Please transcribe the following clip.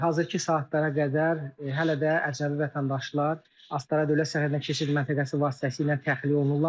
Hazırki saatlara qədər hələ də əcnəbi vətəndaşlar Astara dövlət sərhəddindən keçid məntəqəsi vasitəsilə təxliyə olunurlar.